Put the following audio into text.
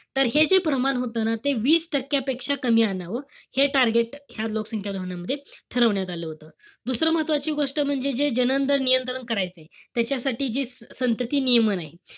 तर हे जे प्रमाण होतं ना ते वीस टक्क्यापेक्षा कमी आणावं, हे target लोकसंख्या धोरणामध्ये ठरवण्यात आलं होतं. दुसरं महत्वाची गोष्ट म्हणजे, जे नियंत्रण करायचंय, त्याच्यासाठी जी संतती नियमन ए,